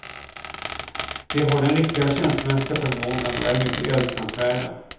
De har den riktiga känslomässiga förmågan och är mycket älskansvärda.